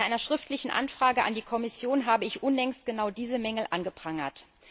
In einer schriftlichen Anfrage an die Kommission habe ich unlängst genau diese Mängel angeprangert.